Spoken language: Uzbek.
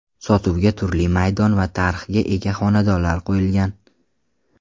Sotuvga turli maydon va tarhga ega xonadonlar qo‘yilgan.